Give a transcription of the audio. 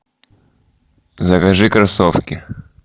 закажи кроссовки